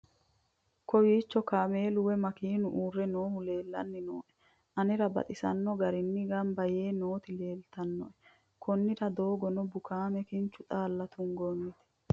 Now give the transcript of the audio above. kowiicho kaamelu woy makeenu uurre noohu leellanni nooe anera baxisanno garinni gamba yee nooti leeltannoe konnira doogono bukaame kincho xaalla tungoonnite